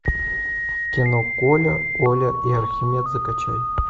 кино коля оля и архимед закачай